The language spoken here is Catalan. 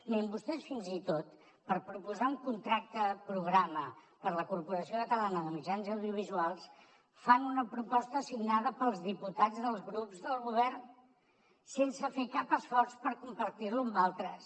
mirin vostès fins i tot per proposar un contracte programa per a la corporació catalana de mitjans audiovisuals fan una proposta signada pels diputats dels grups del govern sense fer cap esforç per compartir lo amb altres